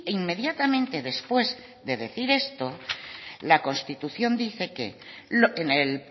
inmediatamente después de decir esto la constitución dice que en el